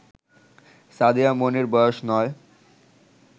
সাদিয়া মনির বয়স ৯